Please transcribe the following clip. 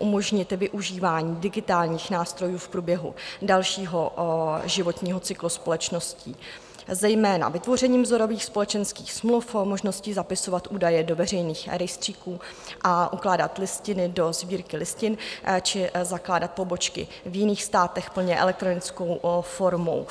umožnit využívání digitálních nástrojů v průběhu dalšího životního cyklu společností, zejména vytvořením vzorových společenských smluv, možností zapisovat údaje do veřejných rejstříků a ukládat listiny do sbírky listin či zakládat pobočky v jiných státech plně elektronickou formou.